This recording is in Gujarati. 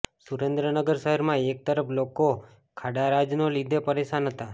સુરેન્દ્રનગર શહેરમાં એક તરફ લોકો ખાડારાજના લીધે પરેશાન હતા